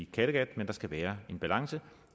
kattegat men der skal være balance